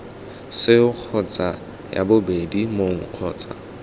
seo kgotsa ii mong kgotsa